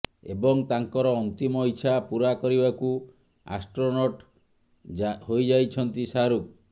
ଏବଂ ତାଙ୍କର ଅନ୍ତିମ ଇଛା ପୁରା କରିବାକୁ ଆଷ୍ଟ୍ରୋନଟ୍ ହୋଇଯାଉଛନ୍ତି ଶାହାରୁଖ୍